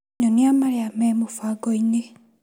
Nyonia marĩa me mũbango-inĩ .